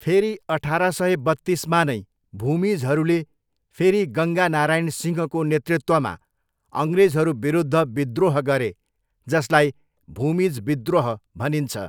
फेरि अठार सय बत्तिसमा नै भूमिजहरूले फेरि गङ्गा नारायण सिंहको नेतृत्वमा अङ्ग्रेजहरू विरुद्ध विद्रोह गरे, जसलाई भूमिज विद्रोह भनिन्छ।